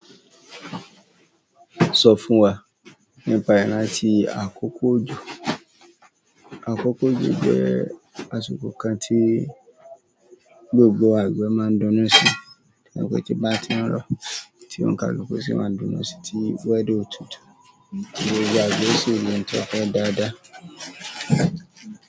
Sọ fún wa nípa ìrántí àkókò òjò. Àkókò òjò jẹ́ àsìkò kan tí gbogbo àgbẹ̀ máa ń dunu sí, nígbà tí bá ti ń rọ́ tí ó ń ka luku sì máa ń dunu sí tí wẹ́ẹ̀da ò tútù tí yíyọ àgbẹ̀ sì le tọ́kọ̀ dáadáa.